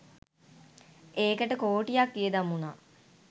ඒකට කෝටියක් වියදම් වුණා.